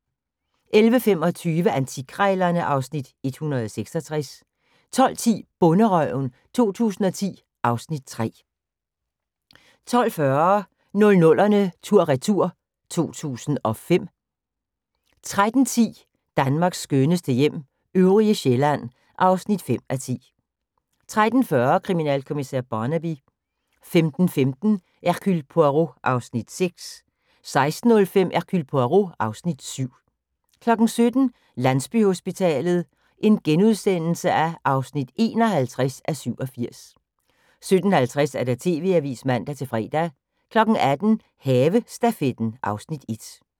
11:25: Antikkrejlerne (Afs. 166) 12:10: Bonderøven 2010 (Afs. 3) 12:40: 00'erne tur/retur: 2005 13:10: Danmarks skønneste hjem - øvrige Sjælland (5:10) 13:40: Kriminalkommissær Barnaby 15:15: Hercule Poirot (Afs. 6) 16:05: Hercule Poirot (Afs. 7) 17:00: Landsbyhospitalet (51:87)* 17:50: TV-avisen (man-fre) 18:00: Havestafetten (Afs. 1)